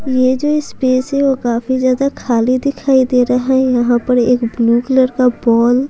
ये जो स्पेस है वो काफी ज्यादा खाली दिखाई दे रहा है यहां पर एक ब्लू कलर का बॉल --